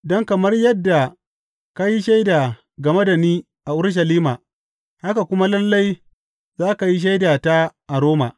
Don kamar yadda ka yi shaida game da ni a Urushalima, haka kuma lalle, za ka yi shaidata a Roma.